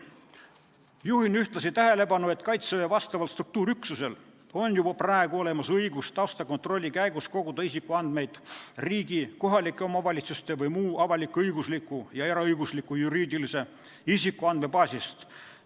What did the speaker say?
Juhin ühtlasi tähelepanu, et Kaitseväe vastaval struktuuriüksusel on juba praegu olemas õigus taustakontrolli käigus koguda isikuandmeid riigi, kohaliku omavalitsuse või muu avalik-õigusliku ja eraõigusliku juriidilise isiku andmebaasist.